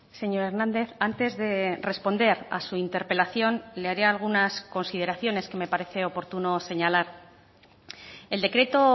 señor hernández antes de responder a su interpelación le haré algunas consideraciones que me parece oportuno señalar el decreto